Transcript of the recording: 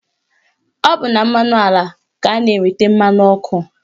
Ọ bụ na mmanụ ala ka a na-enweta mmanụ ọkụ